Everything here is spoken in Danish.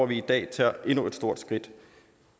vi i dag tager endnu et stort skridt